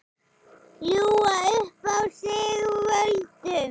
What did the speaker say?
Ljúga upp á sig völdum?